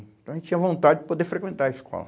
Então a gente tinha vontade de poder frequentar a escola.